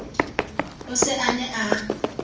o se a ne a